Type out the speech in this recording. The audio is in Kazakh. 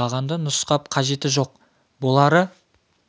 бағанды нұсқап қажеті жоқ болары